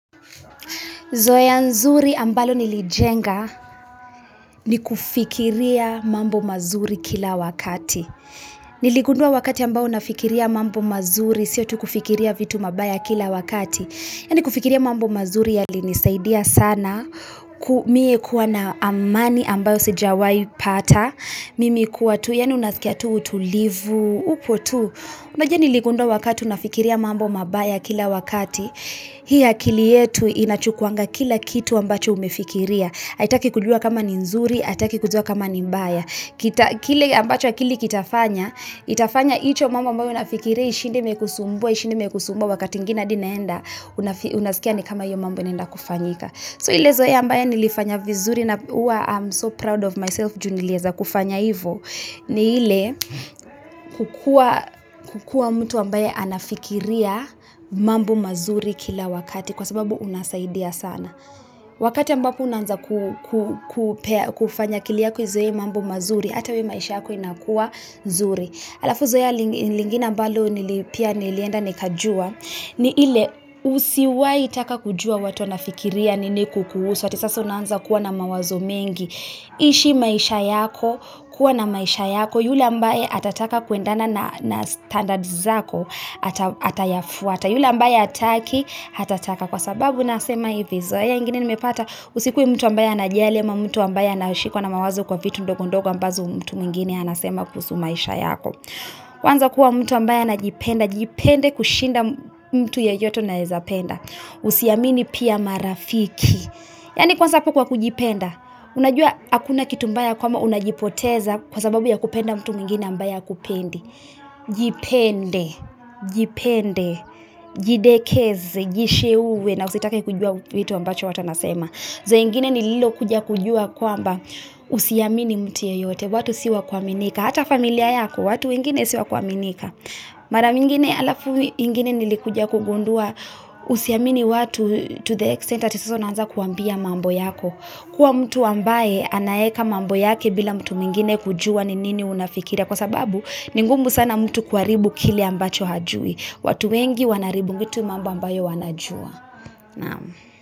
Zoea nzuri ambalo nilijenga ni kufikiria mambo mazuri kila wakati Niligundua wakati ambao nafikiria mambo mazuri sio tu kufikiria vitu mabaya kila wakati yaani kufikiria mambo mazuri yalinisaidia sana Mie kuwa na amani ambayo sijawai pata Mimi kuwa tu yaani unaskia tu utulivu, upo tu unajua niligundua wakati nafikiria mambo mabaya kila wakati Hii akili yetu inachukuwanga kila kitu ambacho umefikiria haitaki kujua kama ni nzuri, aitaki kujua kama ni mbaya kile ambacho akili kitafanya, itafanya icho mambo ambayo nafikiria, ishinde imekusumbua, ishinde imekusumbua Wakati ingine adi naenda, unaskia ni kama iyo mambo inaenda kufanyika Zoea ambayo nilifanya vizuri inakuwa I am so proud of myself Ju nilieza kufanya ivo ni ile kukua mtu ambaye anafikiria mambo mazuri kila wakati Kwa sababu unasaidia sana Wakati ambapo unaanza kufanya akili yako izoe mambu mazuri hata wewe maisha yako inakua nzuri Alafu zoea lingine ambalo nili pia nilienda nikajua ni ile usiwai taka kujua watu wanafikiria nini kukuhusu ati sasa unaanza kuwa na mawazo mengi ishi maishabyako, kuwa na maisha yako yule ambaye atataka kuendana na standards zako atayafuata yule ambaye ataki atataka Kwa sababu nasema hivi zoea ingine nimepata usikuwe mtu ambaye anajali ama mtu ambaye anashikwa na mawazo kwa vitu ndogo ndogo ambazo mtu mwengine anasema kuhusu maisha yako huanza kuwa mtu ambaye anajipenda Jipende kushinda mtu yeyote unaeza penda Usiamini pia marafiki Kwa sababu kujipenda Unajua akuna kitu mbaya kama unajipoteza kwa sababu ya kupenda mtu mwengine ambaye hakupendi Jipende Jidekeze, jisheuwe na usitake kujua vitu ambacho watu wanasema Zoea ingine nililokuja kujua kwamba Usiamini mtu yeyote watu si wa kuaminika Hata familia yako watu, wengine si wa kuaminika Mara mingine alafu ingine nilikuja kugundua Usiamini watu to the extent ati sasa unaanza kuwaambia mambo yako kuwa mtu ambaye, anaeka mambo yake bila mtu mwengine kujua ni nini unafikiria Kwa sababu, ni ngumu sana mtu kuharibu kile ambacho hajui watu wengi wanaharibu, vitu mambo ambayo wanajua.